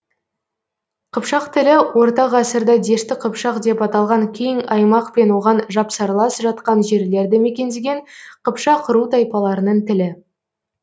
қыпшақ тілі орта ғасырда дешті қыпшақ деп аталған кең аймақ пен оған жапсарлас жатқан жерлерді мекендеген қыпшақ ру тайпаларының тілі